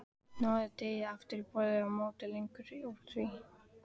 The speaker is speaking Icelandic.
Hnoðið deigið aftur á borði og mótið lengjur úr því.